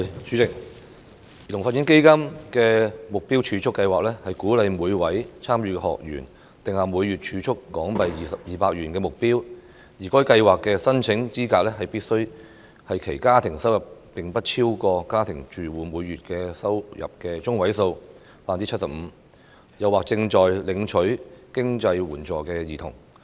主席，基金的目標儲蓄計劃鼓勵每位參與學員定下每月儲蓄200港元的目標，而該計劃的申請資格是其家庭收入不超過家庭住戶每月收入中位數的 75%， 或正在領取經濟援助的兒童。